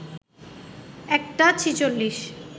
১টা ৪৬